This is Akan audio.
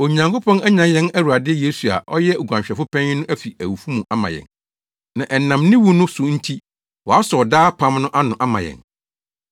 Onyankopɔn anyan yɛn Awurade Yesu a ɔyɛ oguanhwɛfo panyin no afi awufo mu ama yɛn, na ɛnam ne wu no so nti wɔasɔw daa apam no ano ama yɛn.